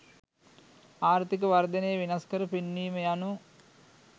ආර්ථීක වර්ධනය වෙනස්කර පෙන්වීම යනු